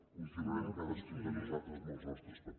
continuarem cadascun de nosaltres amb els nostres papers